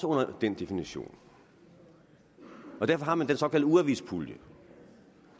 under den definition og derfor har man den såkaldte ugeavispulje